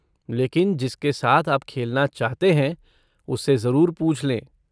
लेकिन जिसके साथ आप खेलना चाहते हैं उससे ज़रूर पूछ लें।